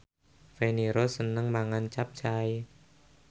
Feni Rose seneng mangan capcay